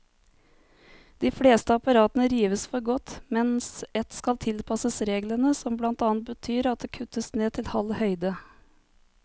De fleste apparatene rives for godt, mens ett skal tilpasses reglene, som blant annet betyr at det kuttes ned til halv høyde.